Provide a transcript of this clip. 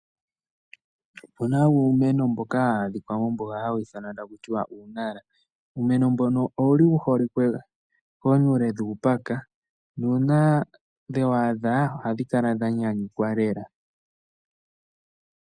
Opu na uumeno mboka hawu adhika mombuga hawu ithanwa taku tiwa uu! Nara. Uumeno mbono owu li wu holike koonyule dhuupaka nuuna dhewu adha ohadhi kala dha nyanyukwa lela.